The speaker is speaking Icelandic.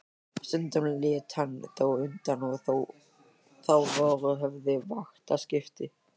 Stundum lét hann þó undan og þá voru höfð vaktaskipti.